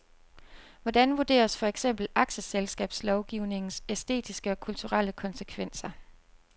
Hvordan vurderes for eksempel aktieselskabslovgivningens æstetiske og kulturelle konsekvenser.